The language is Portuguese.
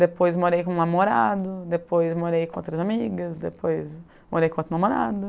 Depois morei com o namorado, depois morei com outras amigas, depois morei com outro namorado.